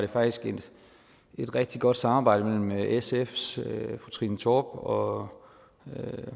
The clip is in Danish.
et rigtig godt samarbejde mellem sfs fru trine torp og